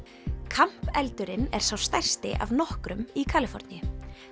camp eldurinn er sá stærsti af nokkrum í Kaliforníu